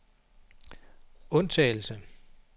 undtagelse